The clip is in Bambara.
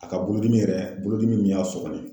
A ka bolodimi yɛrɛ, bolo dimi min y'a sɔgɔ nin ye.